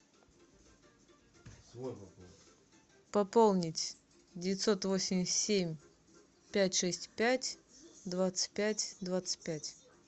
пополнить девятьсот восемьдесят семь пять шесть пять двадцать пять двадцать пять